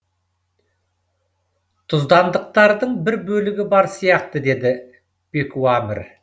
тұздандықтардың бір бөлігі бар сияқты деді пекуамір